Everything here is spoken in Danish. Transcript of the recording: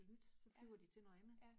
Ja, ja